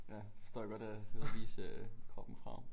Ja det forstår jeg godt er ud og vise øh kroppen frem